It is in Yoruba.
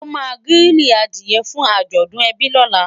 o má grili adìe fún ajọdun ebi lọla